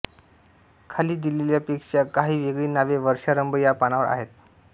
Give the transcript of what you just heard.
खाली दिलेल्यापेक्षा काही वेगळी नावे वर्षारंभ या पानावर आहेत